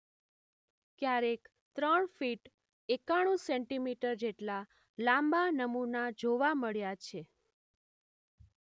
ક્યારેક ત્રણ ફીટ એકાણૂં સેન્ટી મીટર જેટલા લાંબા નમુના જોવા મળ્યા છે.